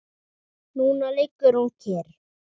Núna liggur hún kyrr.